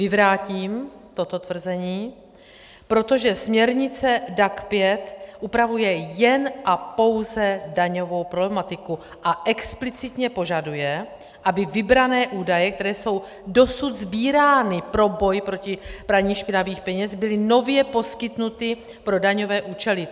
Vyvrátím toto tvrzení, protože směrnice DAC 5 upravuje jen a pouze daňovou problematiku a explicitně požaduje, aby vybrané údaje, které jsou dosud sbírány pro boj proti praní špinavých peněz, byly nově poskytnuty pro daňové účely.